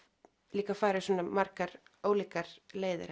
líka farið svona margar ólíkar leiðir